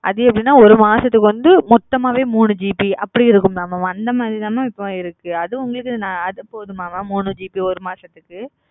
ஆதுஎப்டினஒரு மாசத்துக்கு மொத்தமாவே மூணு ஜி பி அந்தமாரி ம இப்போ இருக்குஅது போதுமாம மூணு மாசத்துக்கு